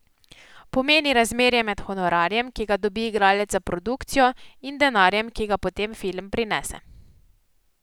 Pomeni razmerje med honorarjem, ki ga dobi igralec za produkcijo, in denarjem, ki ga potem film prinese.